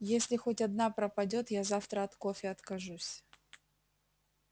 если хоть одна пропадёт я завтра от кофе откажусь